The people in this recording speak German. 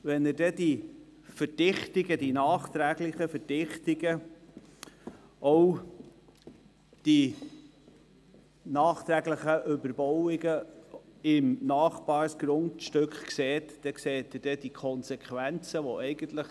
Werden die nachträglichen Verdichtungen und Überbauungen im Nachbargrundstück sichtbar, werden auch die Konsequenzen sichtbar.